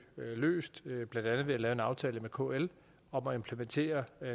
løst blandt andet ved at lave en aftale med kl om at implementere